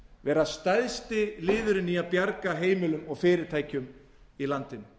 vera stærsti liðurinn í að bjarga heimilum og fyrirtækjum í landinu